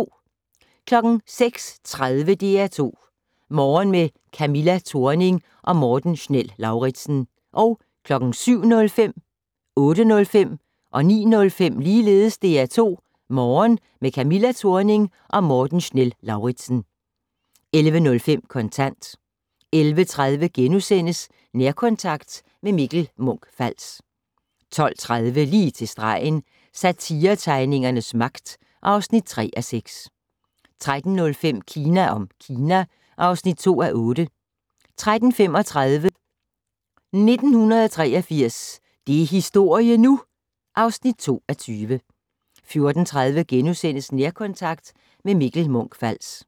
06:30: DR2 Morgen - med Camilla Thorning og Morten Schnell-Lauritzen 07:05: DR2 Morgen - med Camilla Thorning og Morten Schnell-Lauritzen 08:05: DR2 Morgen - med Camilla Thorning og Morten Schnell-Lauritzen 09:05: DR2 Morgen - med Camilla Thorning og Morten Schnell-Lauritzen 11:05: Kontant 11:30: Nærkontakt - med Mikkel Munch-Fals * 12:30: Lige til stregen - Satiretegningernes magt (3:6) 13:05: Kina om Kina (2:8) 13:35: 1983 - det er historie nu! (2:20) 14:30: Nærkontakt - med Mikkel Munch-Fals *